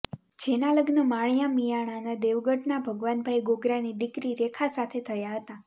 જેના લગ્ન માળીયા મિંયાણાના દેવગઢના ભગવાનભાઇ ગોગરાની દિકરી રેખા સાથે થયા હતાં